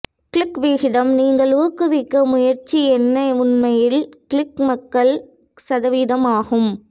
click விகிதம் நீங்கள் ஊக்குவிக்க முயற்சி என்ன உண்மையில் கிளிக் மக்கள் சதவீதம் ஆகும்